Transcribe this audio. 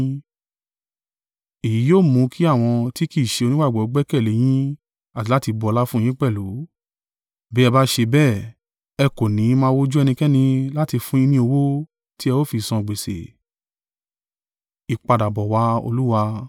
Èyí yóò mú kí àwọn tí kì í ṣe onígbàgbọ́ gbẹ́kẹ̀lé yín àti láti bu ọlá fún yín pẹ̀lú. Bí ẹ bá ṣe bẹ́ẹ̀, ẹ kò ní máa wo ojú ẹnikẹ́ni láti fún yín ni owó tí ẹ ó fi san gbèsè.